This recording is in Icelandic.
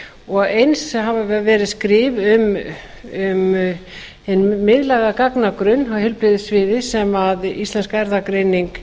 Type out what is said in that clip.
og eins hafa verið skrif um hinn miðlæga gagnagrunn á heilbrigðissviði sem íslensk erfðagreining